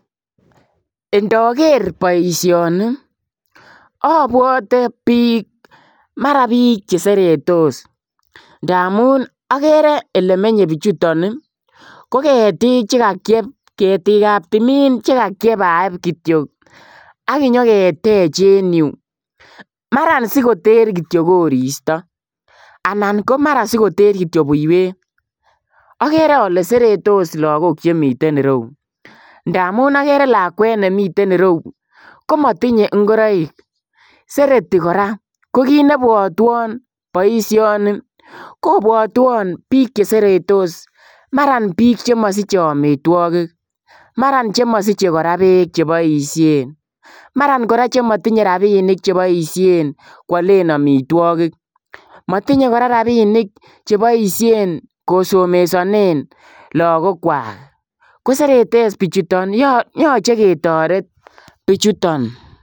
Ndakeer bosioni ii abwatee biik mara biik che seretos ndamuun agere ele menyei bichutoo ii ko ketiik che kakiep ketiik ab tumiin che kakiepaep kityoi aginyoo keteech en Yuu mara sikoteer kityoi koristoi anan ko mara sikoteer kityoi buiywet agere ale seretos lagook chemiten yuu ndamuun agere lakwet nemiten ireuu komatinyei ngoraik seretii kora ko kiit nebwatwaan boisioni ko bwatwaan biik che seretos mara biik chemasichei amitwagiik mara che masichei beek che boisheen mara che masichei rapinik che boisheen koyalen amitwagiik matinyei kora rapinik che boisheen kosomesaneen lagook kwaak ko seretos bichutoon yachei ketoret bichutoon